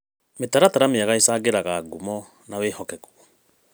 Mĩtaratara mĩega ĩcangĩraga ngumo na wĩhokeku .